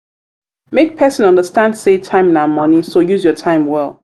make persin understand say time na money so use your time well